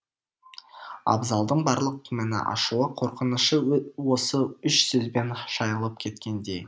абзалдың барлық күмәні ашуы қорқынышы осы үш сөзбен шайылып кеткендей